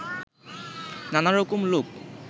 নানা রকম লোক